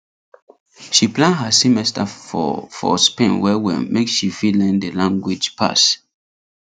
she plan her semester for for spain well well make she fit learn the language pass